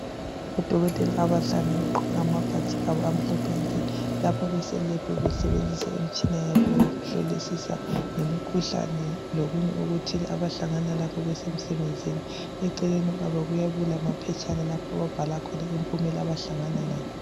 odokotela abahlanu abagqoke amabhatshi abo amhlophe nke lapho bese lab besebezisa imitshina yabo yokuhlolisisa ngemikhuhlane lokunye abahlangana lakho besemsebenzini eceleni kwabo kuyabe kulamaphetshana lapho ababhal khona impumela abahlangana layo